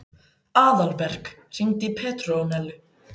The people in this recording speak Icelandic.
Aðalberg, hringdu í Petrónellu.